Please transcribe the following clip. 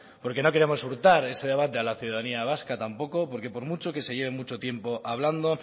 porque no queremos hurtar ese debate a la ciudadanía vasca tampoco porque por mucho que se lleve mucho tiempo hablando